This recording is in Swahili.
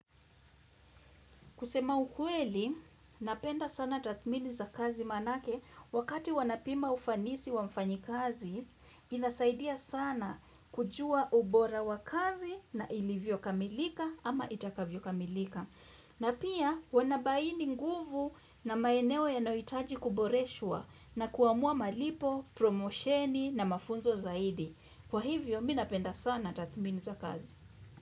Kusema ukweli, napenda sana tathmini za kazi manake wakati wanapima ufanisi wa mfanyikazi, inasaidia sana kujua ubora wa kazi na ilivyo kamilika ama itakavyo kamilika. Na pia wanabaini nguvu na maeneo yanohitaji kuboreshwa na kuamua malipo, promosheni na mafunzo zaidi. Kwa hivyo, mi napenda sana tathmini za kazi.